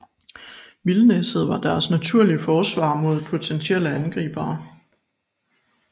Vildnisset var deres naturlige forsvar mod potentielle angribere